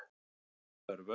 Nefndin sé enn að störfum.